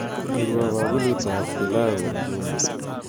Kurwo bakulitab pilau eng jumia